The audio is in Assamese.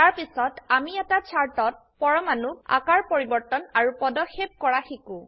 তাৰপিছত আমি এটা চাৰ্ট ত পৰমানুক আকাৰ পৰিবৰ্তন আৰু পদক্ষেপ কৰা শিকো